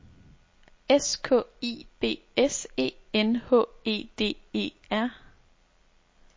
S K I B S E N H E D E R